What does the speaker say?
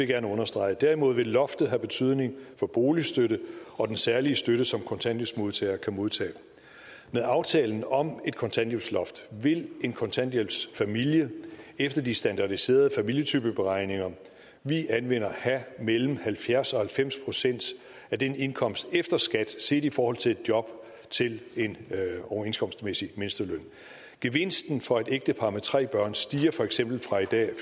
gerne understrege derimod vil loftet have betydning for boligstøtten og den særlige støtte som kontanthjælpsmodtagere kan modtage med aftalen om et kontanthjælpsloft vil en kontanthjælpsfamilie efter de standardiserede familietypeberegninger vi anvender have mellem halvfjerds og halvfems procent af indkomsten efter skat set i forhold til et job til en overenskomstmæssig mindsteløn gevinsten for et ægtepar med tre børn stiger for eksempel fra i dag